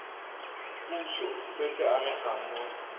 puso se se amegang mo